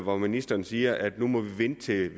og ministeren siger at vi må vente til